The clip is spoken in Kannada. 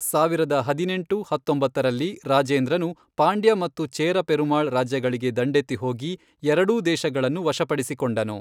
ಸಾವಿರದ ಹದಿನೆಂಟು, ಹತ್ತೊಂಬತ್ತರಲ್ಲಿ, ರಾಜೇಂದ್ರನು ಪಾಂಡ್ಯ ಮತ್ತು ಚೇರ ಪೆರುಮಾಳ್ ರಾಜ್ಯಗಳಿಗೆ ದಂಡೆತ್ತಿ ಹೋಗಿ ಎರಡೂ ದೇಶಗಳನ್ನು ವಶಪಡಿಸಿಕೊಂಡನು.